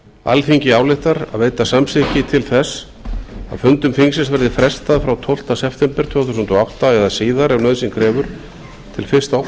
alþingi ályktar að veita samþykki til þess að fundum þingsins verði frestað frá tólfta september tvö þúsund og átta eða síðar ef nauðsyn krefur til